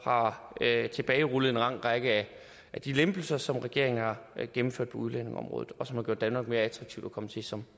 har tilbagerullet en lang række af de lempelser som regeringen har gennemført på udlændingeområdet og som har gjort danmark mere attraktivt at komme til som